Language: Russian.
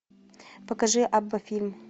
покажи абба фильм